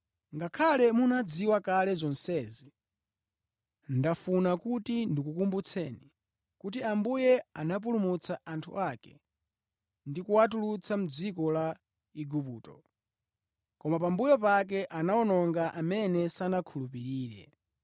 Ngakhale munazidziwa kale zonsezi, ndafuna kuti ndikukumbutseni kuti Ambuye anapulumutsa anthu ake ndi kuwatulutsa mʼdziko la Igupto, koma pambuyo pake anawononga amene sanakhulupirire.